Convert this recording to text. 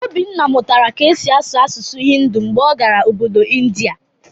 Obinna mụtara ka e si asụ asụsụ Hindu mgbe ọ gara Obodo India